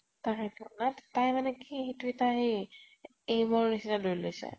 তাকেইতো । নাই তাই মানে কি সেইটো এটা সেই aim ৰ নিছিনা লৈ লৈছে ।